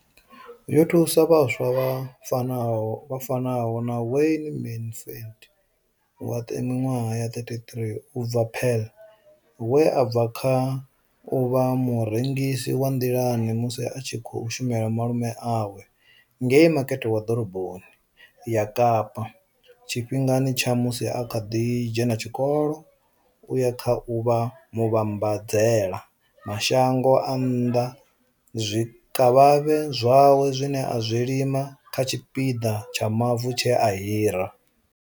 Yo thusa vhaswa vha fanaho na Wayne Mansfield wa minwaha ya 33 u bva Paarl, we a bva kha u vha murengisi wa nḓilani musi a tshi khou shumela malume awe ngei Makete wa ḓoroboni ya Kapa tshifhingani tsha musi a kha ḓi dzhena tshikolo u ya kha u vha muvhambadzela mashango a nnḓa zwikavhavhe zwawe zwine a zwi lima kha tshipiḓa tsha mavu tshe a hira.